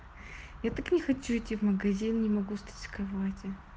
я так не хочу идти в магазин не могу встать с кровати